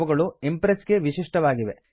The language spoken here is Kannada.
ಅವುಗಳು ಇಂಪ್ರೆಸ್ ಗೆ ವಿಶಿಷ್ಟವಾಗಿವೆ